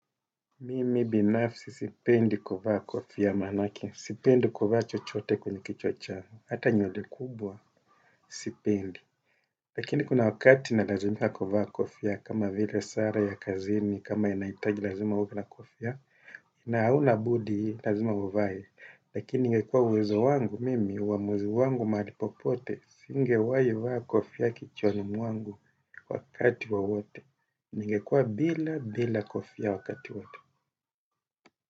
Mimi binafsi sipendi kuvaa kofia manake, sipendi kuvaa chochote kwenye kichwa channgu, hata nywele kubwa, sipendi. Lakini kuna wakati na lazimika kuvaa kofia kama vile sare ya kazini, kama inaitaji lazima uwe na kofia, ina auna budi lazima uvae. Lakini ingekua uwezo wangu, mimi, uwamuzi wangu mahali popote, singewahi vaa kofia kichwani mwangu wakati wowote, ningekua bila bila kofia wakati wote. Kwa hivyo.